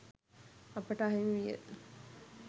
අපට අහිමි විය.